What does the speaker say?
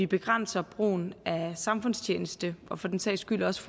begrænser brugen af samfundstjeneste og for den sags skyld også